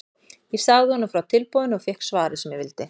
Ég sagði honum frá tilboðinu og fékk svarið sem ég vildi.